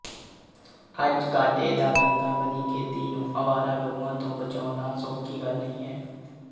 ਅੱਜ ਘਾਟੇ ਦਾ ਧੰਦਾ ਬਣੀ ਖੇਤੀ ਨੂੰ ਅਵਾਰਾ ਗਊਆਂ ਤੋਂ ਬਚਾਉਣਾ ਸੌਖੀ ਗੱਲ ਨਹੀਂ ਹੈ